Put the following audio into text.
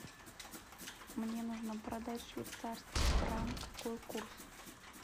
мне нужно продать швейцарский франк какой курс